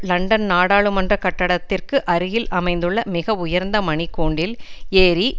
London நாடாளுமன்ற கட்டடத்திற்கு அருகில் அமைந்துள்ள மிக உயர்ந்த மணிக்கூண்டில் ஏறி